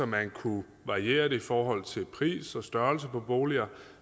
man kunne variere det i forhold til pris og størrelse på boliger